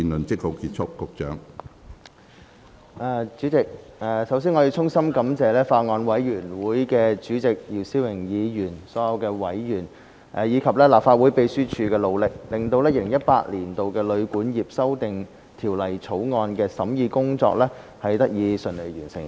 主席，首先，我要衷心感謝法案委員會主席姚思榮議員、所有委員，以及立法會秘書處的努力，令《2018年旅館業條例草案》的審議工作得以順利完成。